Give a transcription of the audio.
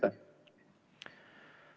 Aitäh!